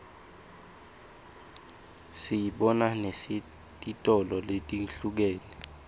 siyibona nesetitolo letihlukene